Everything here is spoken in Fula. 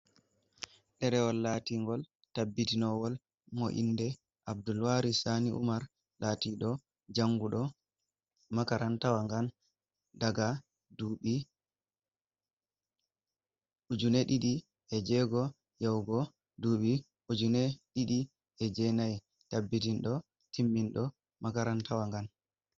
Ɗerewol latingol, taɓɓitinowol, mo inɗe Abdulwaris sani umar, latiɗo janguɗo makarantawa ngan. Ɗaga ɗuɓi, ujine ɗiɗi e jego, yahugo ɗubi ujine ɗiɗi e jenai. taɓɓitinɗo timminɗo makarantawa Ngan.